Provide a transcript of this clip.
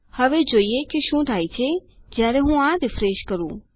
હવે જોઈએ કે શું થાય છે જયારે હું આ રીફ્રેશ કરું